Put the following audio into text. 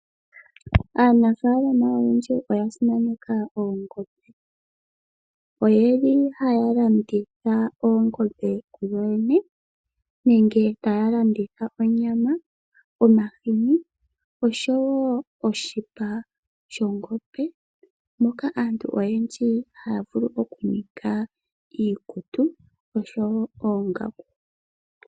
Aanafalama oyendji oya simaneka oongombe oyeli haya landitha oongombe ku yoyene nenge taya landitha onyama, omahini oshowo oshipa shongombe moka aantu oyendji haya vulu oku ninga iikutu oshowo oongaku.